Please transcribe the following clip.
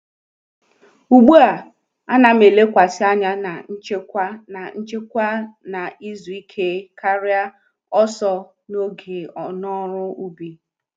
Ugbu a,a na'm elekwasị anya na nchekwa na nchekwa na izu ike karịa ọsọ n'oge n’ọrụ ubi.